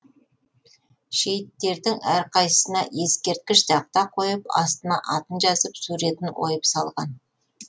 шейіттердің әрқайсысына ескерткіш тақта қойып астына атын жазып суретін ойып салған